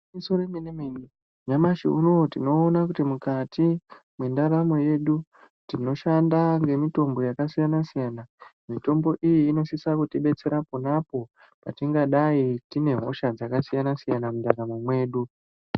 Igwinyiso remene mene nyamashi unou tinoona kuti mukati mwendaramo yedu tinoshanda ngemitombo yakasiyana siyana, mitombo iyi inosisa kutidetsera ponapo patingadai tine hosha dzakasiyana mundaramo mwedu.